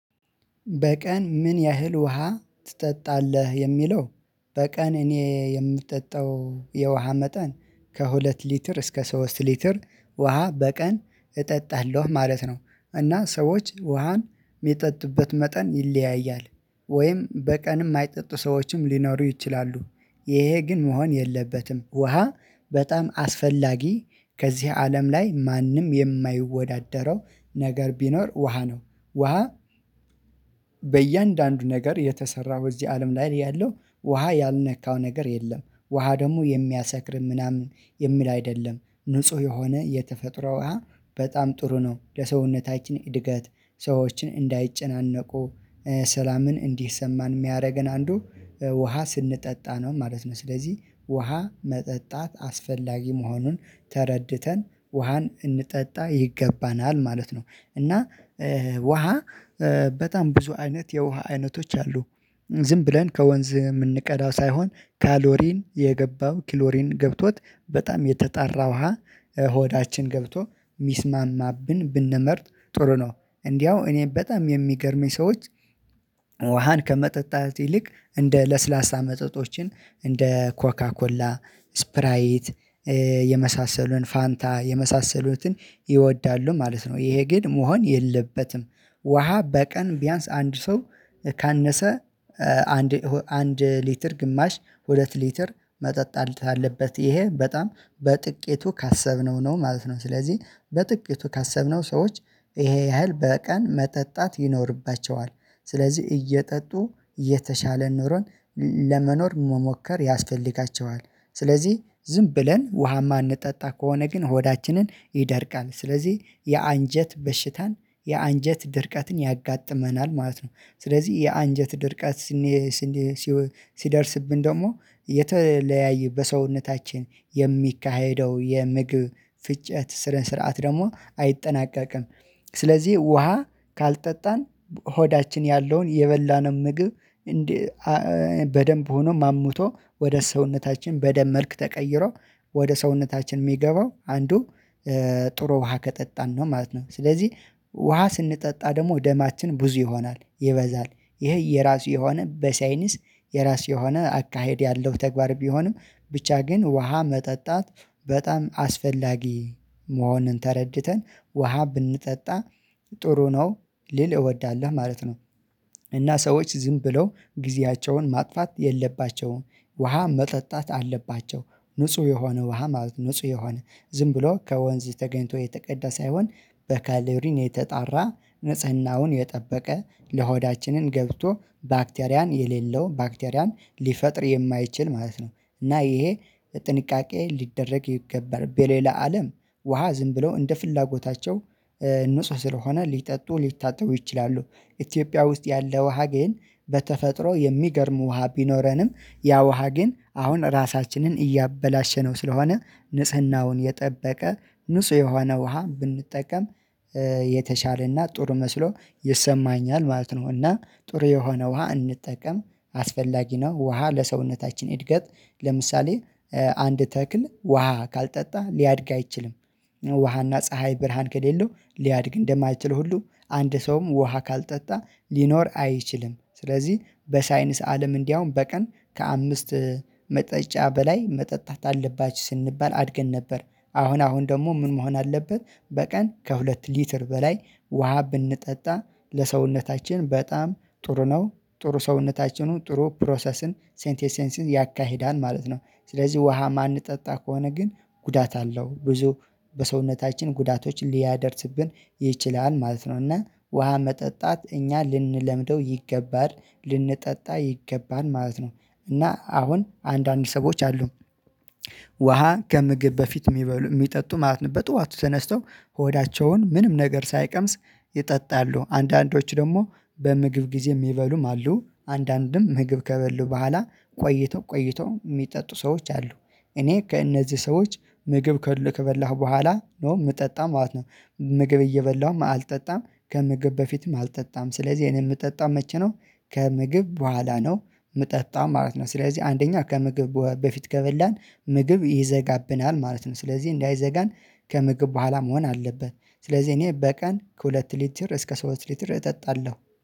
በቀን ምን ያህል ውሃ ትጠጣለህ የሚለው? በቀን እኔ የምጠጣው የውሃ መጠን ከሁለት ሊትር እስከ ሶስት ሊትር ውሃ በቀን እጠጣለሁ ማለት ነው። እና ሰዎች ውሃን የሚጠጡበት መጠን ይለያያል። ወይም በቀን የማይጠጡ ሰዎችም ሊኖሩ ይችላሉ። ይሄ ግን መሆን የለበትም ውሃ በጣም አስፈላጊ ከዚህ አለም ላይ ማንም የማይወዳደረው ነገር ቢኖር ውሃ ነው። ውሃ በእያንዳንዱ ነገር የተሰራው እዚህ አለም ላይ ያለው ውሃ ያልነካው ነገር የለም። ውሃ ደግሞ የሚያሰክርም ምናምን የሚል አይደለም ንጹህ የሆነ የተፈጥሮ ውሃ በጣም ጥሩ ነው። ለሰውነታችን እድገት ሰዎችን እንዳይጨነቁ ሰላምን እንዲሰማን የሚያደርገን አንዱ ውሃ ስንጠጣ ነው ማለት ነው። ስለዚህ ውሃ መጠጣት አስፈላጊ መሆኑን ተረድተን ውሃን እንጠጣ ይገባናል ማለት ነው። እና ውሃ በጣም ብዙ አይነት የውሃ አይነቶች አሉ። ዝም ብለን ከወንዝ የምንቀዳው ሳይሆን ካሎሪን የገባው ክሎሪን ገብቶት በጣም የተጠራ ውሃ ሆዳችን ገብቶ የሚስማማብን ብንመርጥ ጥሩ ነው። እንዲያው እኔ በጣም የሚገርመኝ ሰዎች ውሃን ከመጠጣት ይልቅ እንደ ለስላሳ መጠጦችን እንደ ኮካኮላ ስፕራይት የመሳሰሉን ፋንታ የመሳሰሉትን ይወዳሉ ማለት ነው ይሄ ግን መሆን የለበትም። ውሃ በቀን ቢያንስ አንድ ሰው ካነሰ አንድ አንድ ሊትር ግማሽ ሁለት ሊትር መጠጥ አለበት ይሄ በጣም በጥቂቱ ካሰብነው ነው ማለት ነው። ስለዚህ በጥቂቱ ካሰብነው ሰዎች ይሄ ያህል በቀን መጠጣት ይኖርባቸዋል። ስለዚህ እየጠጡ የተሻለ ንሮን ለመኖር መሞከር ያስፈልጋቸዋል። ስለዚህ ዝም ብለን ውሃማ እማንጠጣ ከሆነ ግን ሆዳችንን ይደርቃል ስለዚህ የአንጀት በሽታን የአንጀት ድርቀትን ያጋጥመናል ማለት ነው። ስለዚህ የአንጀት ድርቀት ሲደርስብን ደግሞ የተለያየ በሰውነታችን የሚካሄደው የምግብ ፍጨት ስነ ስርዓት ደግሞ አይጠናቀቅም። ስለዚህ ውሃ ካልጠጣን ሆዳችን ያለውን የበላነው ምግብ በደንብ ሆኖ ማሙቶ ወደ ሰውነታችን በደም መልክ ተቀይሮ ወደ ሰውነታችን የሚገባው አንዱ ጥሩ ውሃ ከጠጣን ነው ማለት ነው። ስለዚህ ውሃ ስንጠጣ ደግሞ ደማችን ብዙ ይሆናል ይበዛል ይሄ የራሱ የሆነ በሳይኒስ የራሱ የሆነ አካሄድ ያለው ተግባር ቢሆንም ብቻ ግን ውሃ መጠጣት በጣም አስፈላጊ መሆንን ተረድተን ውሃ ብንጠጣ ጥሩ ነው። ልል እወዳለሁ ማለት ነው። እና ሰዎች ዝም ብለው ጊዜያቸውን ማጥፋት የለባቸውም ውሃ መጠጣት አለባቸው። ንጹህ የሆነ ውሃ ማለት ንጹህ የሆነ ዝም ብሎ ከወንዝ ተገኝቶ የተቀዳ ሳይሆን በካሌብሪን የተጣራ ንጽህናውን የጠበቀ ለሆዳችንን ገብቶ ባክቴሪያን የሌለው ባክቴሪያን ሊፈጥር የማይችል ማለት ነው። እና ይሄ ጥንቃቄ ሊደረግ ይገባል በሌላ አለም ውሃ ዝም ብለው እንደ ፍላጎታቸው ንጹህ ስለሆነ ሊጠጡ ሊታጠቡ ይችላሉ። ኢትዮጵያ ውስጥ ያለ ውሃ ግን በተፈጥሮ የሚገርም ውሃ ቢኖረንም ያ ውሃ ግን አሁን ራሳችንን እያበላሸ ነው ስለሆነ ንጽህናውን የጠበቀ ንጹህ የሆነ ውሃ ብንጠቀም የተሻለና ጥሩ መስሎ ይሰማኛል ማለት ነው። እና ጥሩ የሆነ ውሃ እንጠቀም አስፈላጊ ነው። ውሃ ለሰውነታችን እድገት ለምሳሌ አንድ ተክል ውሃ ካልጠጣ ሊያድግ አይችልም። ውሃና ፀሀይ ብርሃን ከሌለው ሊያድግ እንደማይችል ሁሉ አንድ ሰውም ውሃ ካልጠጣ ሊኖር አይችልም። ስለዚህ በሳይንስ አለም እንዲያውም በቀን ከአምስት መጠጫ በላይ መጠጣት አለባች ስንባል አድገን ነበር። አሁን አሁን ደግሞ ምን መሆን አለበት? በቀን ከሁለት ሊትር በላይ ውሃ ብንጠጣ ለሰውነታችን በጣም ጥሩ ነው። ጥሩ ሰውነታችንን ጥሩ ፕሮሰስን ሴንት ኤሴንስን ያካሂዳን ማለት ነው። ስለዚህ ውሃ የማንጠጣ ከሆነ ግን ጉዳት አለው ብዙ በሰውነታችን ጉዳቶችን ሊያደርስብን ይችላል ማለት ነው። እና ውሃ መጠጣት እኛ ልንለምደው ይገባል ልንጠጣ ይገባል ማለት ነው። እና አሁን አንዳንድ ሰዎች አሉ ውሃ ከምግብ በፊት የሚጠጡ ማለት ነው። በጧቱ ተነስተው ሆዳቸውን ምንም ነገር ሳይቀምስ ይጠጣሉ አንዳንዶች ደግሞ በምግብ ጊዜ የሚበሉም አሉ አንዳንድም ምግብ ከበሉ በኋላ ቆይቶ ቆይቶ የሚጠጡ ሰዎች አሉ። እኔ ከእነዚህ ሰዎች ምግብ ከበላሁ በኋላ ኖ የምጠጣም ማለት ነው። ምግብ እየበላሁም አልጠጣም ከምግብ በፊትም አልጠጣም ስለዚህ እኔ የምጠጣም መቼ ነው? ከምግብ በኋላ ነው የምጠጣም ማለት ነው። ስለዚህ አንደኛ ከምግብ በፊት ከበላን ምግብ ይዘጋብናል ማለት ነው። ስለዚህ እንዳይዘጋን ከምግብ በኋላ መሆን አለበት። ስለዚህ እኔ በቀን ከሁለት ሊትር እስከ ሶስት ሊትር እጠጣለሁ